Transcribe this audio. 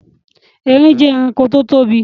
Erin jẹ ẹranko tí ó tóbi